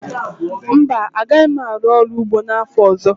Mba, agaghị m arụ ọrụ ugbo n'afọ ọzọ